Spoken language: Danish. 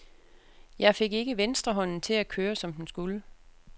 Jeg fik ikke venstrehånden til at køre, som den skulle.